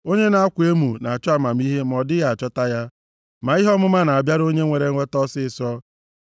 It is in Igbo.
Onye na-akwa emo na-achọ amamihe ma ọ dịghị achọta ya; ma ihe ọmụma na-abịara onye nwere nghọta ọsịịsọ.